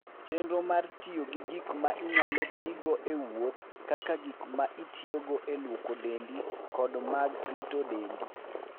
Chenro mar tiyo gi gik ma inyalo tigo e wuoth kaka gik ma itiyogo e lwoko dendi kod mag rito dendi.